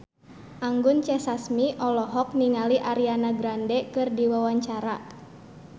Anggun C. Sasmi olohok ningali Ariana Grande keur diwawancara